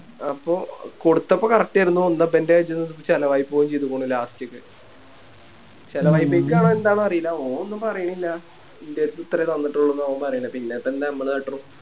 അപ്പൊ കൊടുത്തപ്പോ Correct ആയിരുന്നു എന്താ പ്പോ ഇവൻറെ ഇത് ചെലവായി പോവേം ചെയ്തിക്കിണു Last ൽ ത്തെ എന്താന്നറീല്ല ഓൻ ഒന്നും പറയണില്ല ഇൻറെടുത്ത് ഇത്രേ തന്നിട്ടുള്ളുന്ന ഓൻ പറയണേ പിന്നിപ്പോ എന്താ ഞമ്മള് കാട്ടണേ